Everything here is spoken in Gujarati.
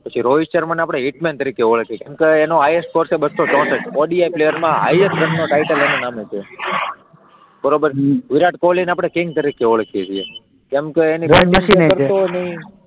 પછી રોહિત શર્મા ને આપણે હિટ મેન તરીકે ઓળખીએ છીએ, કેમકે એમનો હાઈએસ્ટ સ્કોર છે બસ્સો ચોસઠ, ઓડી પ્લેયર માં હાઈએસ્ટ જેમનો ટાઇટલ એનાં નામે છે, બરાબર, હમ વિરાટ કોહલીને આપણે કિંગ તરીકે ઓળખીએ છીએ કેમકે એની